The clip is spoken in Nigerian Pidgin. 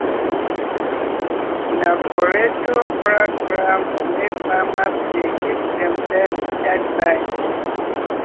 na for radio programwey farmers dey give themselves advice.